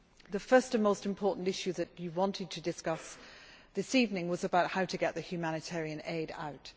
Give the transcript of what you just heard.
The first and most important issue that you wanted to discuss this evening was about how to get the humanitarian aid out.